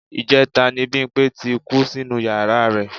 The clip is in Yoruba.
Ìjẹta ni Bímpé ti kú sínú yàra rẹ̀